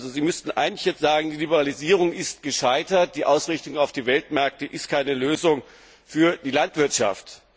Sie müssten eigentlich jetzt sagen Die Liberalisierung ist gescheitert, die Ausrichtung auf die Weltmärkte ist keine Lösung für die Landwirtschaft.